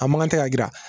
A mankan tɛ ka jira